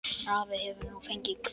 Afi hefur nú fengið hvíld.